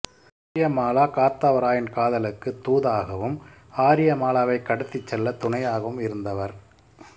ஆரியமாலா காத்தவராயன் காதலுக்கு தூதாகவும் ஆரியமாலாவை கடத்திச் செல்ல துணையாகவும் இருந்தவர்